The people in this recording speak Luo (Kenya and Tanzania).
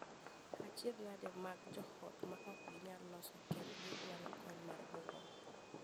Achiedhnade mag joot ma ok ginyal loso kendgi dwaro kony mar jolony.